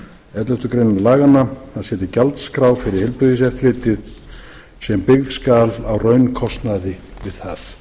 elleftu grein laganna að setja gjaldskrá fyrir heilbrigðiseftirlitið sem byggð skal á raunkostnaði við